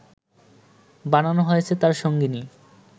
বানানো হয়েছে তার সঙ্গিনী